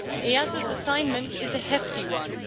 EASO's assignment is a hefty one.